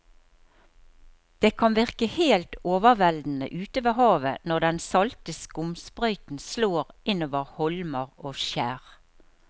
Det kan virke helt overveldende ute ved havet når den salte skumsprøyten slår innover holmer og skjær.